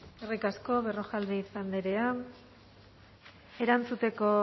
eskerrik asko berrojalbiz andrea erantzuteko